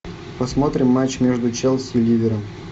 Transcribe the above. посмотрим матч между челси и ливером